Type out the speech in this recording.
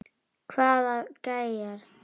Hvaða gæjar?